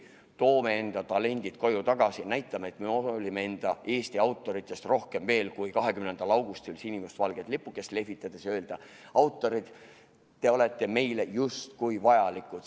Toome enda talendid koju tagasi ja näitame, et me hoolime enda, Eesti autoritest – rohkem veel kui lihtsalt 20. augustil sinimustvalget lipukest lehvitades ja justkui öeldes: autorid, te olete meile vajalikud.